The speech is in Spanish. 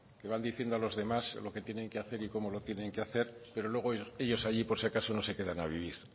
que van diciendo a los demás lo que tienen que hacer y cómo lo tienen que hacer pero luego ellos allí por si acaso no se quedan a vivir